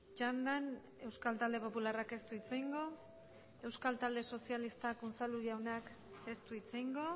txandan euskal talde popularrak ez du hitz egingo euskal talde sozialistak unzalu jaunak ez du hitz egingo